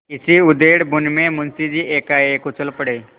इसी उधेड़बुन में मुंशी जी एकाएक उछल पड़े